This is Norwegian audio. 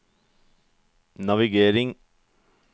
navigering